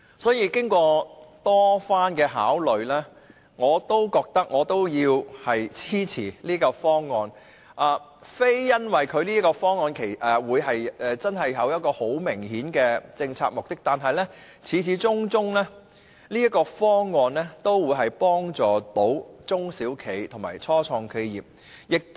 所以，經過多番考慮，我仍要支持這個方案，並非因為方案有很明顯的政策目的，但方案始終可以幫助中小企及初創企業。